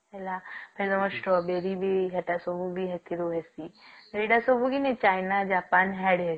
ହେଲା ତେଣୁ ସ୍ଟ୍ରବେରୀ ବି ଏଟା ସବୁ ବି ଏଥିରୁ ହୁଏ ଏଗୁଡା ସବୁ କି ନାଇଁ ଚାଇନା ଜାପାନ ସାଡେ